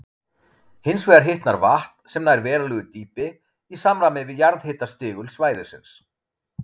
Hins vegar hitnar vatn, sem nær verulegu dýpi, í samræmi við jarðhitastigul svæðisins.